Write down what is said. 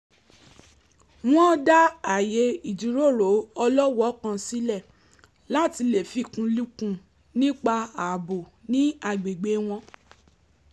wọ́n dá ààyè ìjíròrò ọlọ́wọ̀ọ́ kan sílẹ̀ láti lè fikùnlukùn nípa ààbò ní agbègbè wọn